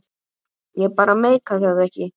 Ég bara meikaði ekki að.